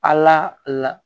Ala la